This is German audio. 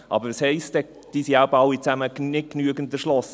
Diese sind eben alle nicht genügend erschlossen.